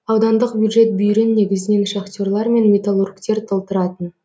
аудандық бюджет бүйірін негізінен шахтерлар мен металлургтер толтыратын